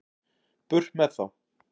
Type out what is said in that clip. Burt með þá.